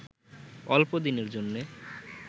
অল্পদিনের জন্যে